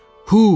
Huh!